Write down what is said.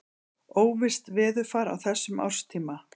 Óvisst veðurfar á þessum árstíma.